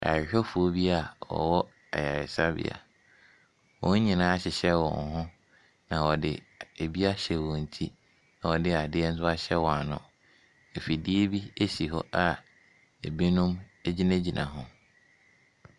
Ayarehwɛfoɔ bi a wɔwɔ ayaresabea, wɔn nyinaa ahyehyɛ wɔn ho, na wɔde adeɛ bi ahyɛ wɔn ti na wɔde nso ahyɛ wɔn ano. Afidie bi si hɔ a binom gyinagyina ho.